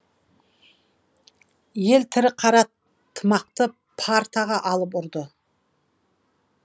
ел тірі қара тымақты партаға алып ұрды